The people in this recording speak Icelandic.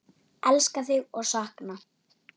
Elska þig og sakna.